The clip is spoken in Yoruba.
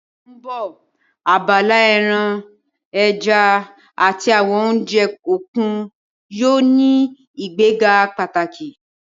Ní oṣù tó ń bọ̀, abala ẹran, ẹja àti àwọn oúnjẹ òkun yóò ní ìgbéga pàtàkì